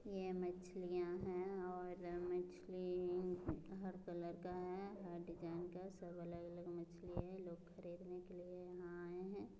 ये मछलियाँ हैं और मछली हर कलर का है हर डिजाइन का है सब अलग-अलग मछली हैं। लोग खरीदने के लिए यहाँ आए हैं।